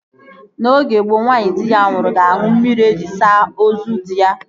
N'oge gboo, nwaanyị di ya nwụrụ ga-aṅụ mmiri ejiri saa ozu dị ya